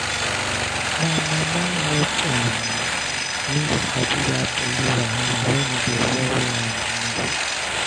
my mama help um me sabi that belly wahala when e dey worry um me